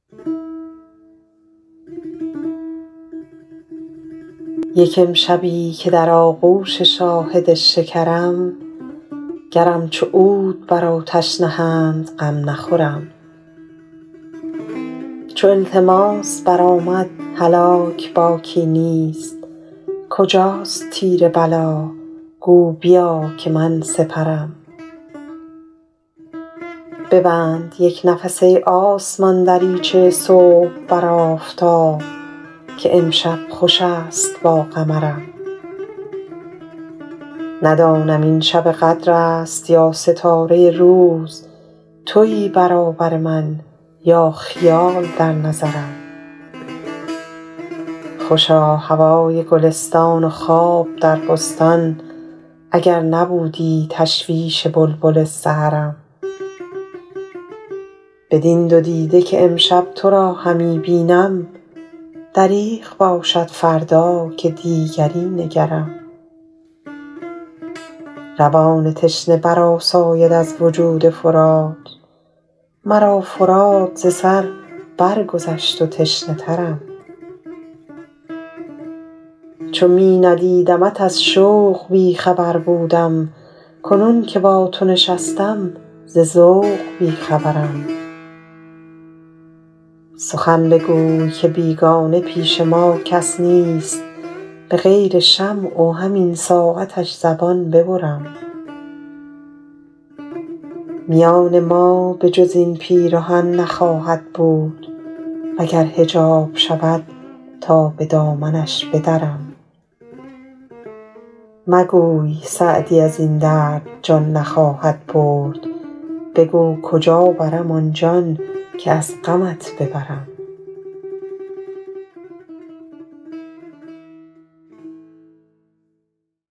یک امشبی که در آغوش شاهد شکرم گرم چو عود بر آتش نهند غم نخورم چو التماس برآمد هلاک باکی نیست کجاست تیر بلا گو بیا که من سپرم ببند یک نفس ای آسمان دریچه صبح بر آفتاب که امشب خوش است با قمرم ندانم این شب قدر است یا ستاره روز تویی برابر من یا خیال در نظرم خوشا هوای گلستان و خواب در بستان اگر نبودی تشویش بلبل سحرم بدین دو دیده که امشب تو را همی بینم دریغ باشد فردا که دیگری نگرم روان تشنه برآساید از وجود فرات مرا فرات ز سر برگذشت و تشنه ترم چو می ندیدمت از شوق بی خبر بودم کنون که با تو نشستم ز ذوق بی خبرم سخن بگوی که بیگانه پیش ما کس نیست به غیر شمع و همین ساعتش زبان ببرم میان ما به جز این پیرهن نخواهد بود و گر حجاب شود تا به دامنش بدرم مگوی سعدی از این درد جان نخواهد برد بگو کجا برم آن جان که از غمت ببرم